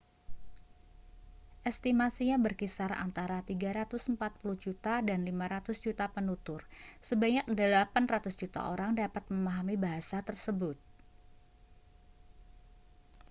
estimasinya berkisar antara 340 juta dan 500 juta penutur sebanyak 800 juta orang dapat memahami bahasa tersebut